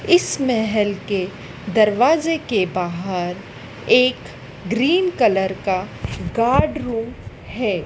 इस महल के दरवाजे के बाहर एक ग्रीन कलर का गार्ड रूम है।